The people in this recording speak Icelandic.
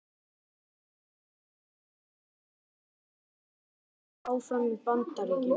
Hann hefur ekki útilokað það að vera áfram í Bandaríkjunum.